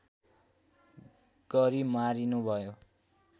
गरी मारिनुभयो